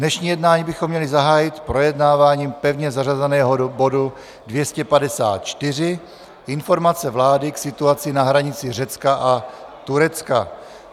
Dnešní jednání bychom měli zahájit projednáváním pevně zařazeného bodu 254 - Informace vlády k situaci na hranici Řecka a Turecka.